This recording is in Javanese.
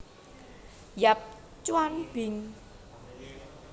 Yap Tjwan Bing